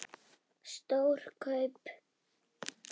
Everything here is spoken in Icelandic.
Stór kaup?